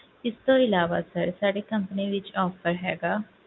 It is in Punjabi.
ਇਸ ਤੋਂ ਇਲਾਵਾ sir ਸਾਡੀ company ਵਿੱਚ offer ਹੈਗਾ,